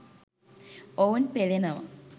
ඔවුන් පෙළෙනවා.